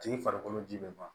Tigi farikolo ji bɛ ban